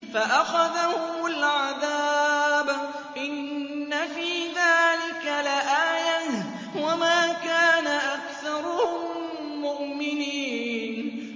فَأَخَذَهُمُ الْعَذَابُ ۗ إِنَّ فِي ذَٰلِكَ لَآيَةً ۖ وَمَا كَانَ أَكْثَرُهُم مُّؤْمِنِينَ